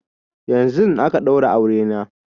Yanzun aka ɗaura aure na